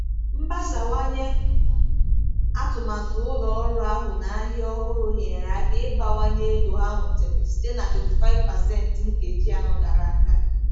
Mgbasawanye atụmatụ ụlọ ọrụ ahụ na ahịa ọhụrụ nyere aka ịbawanye ego ha nwetara site na 25% nkeji anọ gara aga.